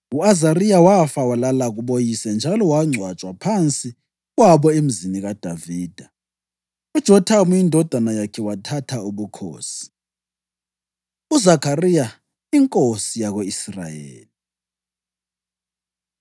U-Azariya wafa walala kuboyise njalo wangcwatshwa phansi kwabo eMzini kaDavida. UJothamu indodana yakhe wathatha ubukhosi. UZakhariya Inkosi Yako-Israyeli